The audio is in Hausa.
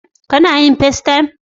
Kana yin FaceTime?